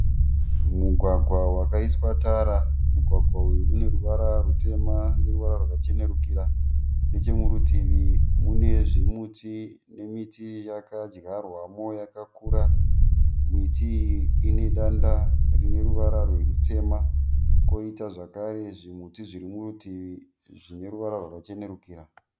Mugwagwa wakaiswa tara. Mugwagwa uyu ineruvara rutema neruvara rwakacherukira. Nechekurutivi munezvimimiti nemiti yakadyarwamo yakakura. Miti iyi ine danda rineruvara rutema koita zvakare zvimiti zviri murutivi zvine ruvara rwakachenerukira.